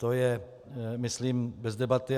To je myslím bez debaty.